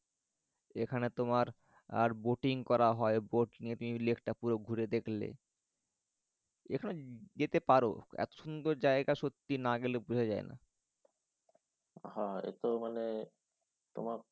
এখানে তোমার আর boating করা হয়। boat নিয়ে লেকটা পুরো তুমি ঘুরে দেখলে। এখানে যেতে পারো এত সুন্দর জায়গা সত্যি না গেলে বোঝা যায়না। হ্যাঁ এত মানে তোমার